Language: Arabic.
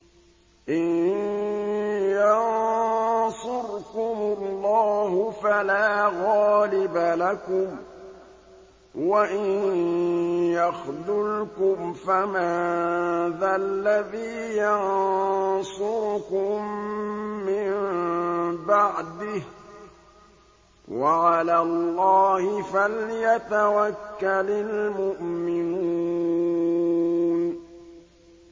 إِن يَنصُرْكُمُ اللَّهُ فَلَا غَالِبَ لَكُمْ ۖ وَإِن يَخْذُلْكُمْ فَمَن ذَا الَّذِي يَنصُرُكُم مِّن بَعْدِهِ ۗ وَعَلَى اللَّهِ فَلْيَتَوَكَّلِ الْمُؤْمِنُونَ